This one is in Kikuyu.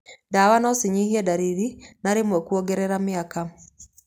Ndawa no cinyihie ndariri na rĩmwe kũongerera mĩaka.